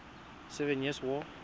seven years war